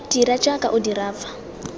dira jaaka o dira fa